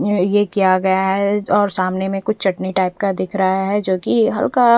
ये किया गया है और सामने में कुछ चटनी टाइप दिख रहा है जो की हल्का--